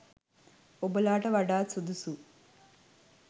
ඔබලාට වඩාත් සුදුසු